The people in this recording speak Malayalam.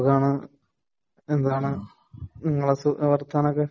സുഖാനു .. എന്താണ് നിങ്ങളുടെ വർത്താനം ഒക്കെ